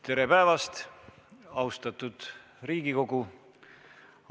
Tere päevast, austatud Riigikogu!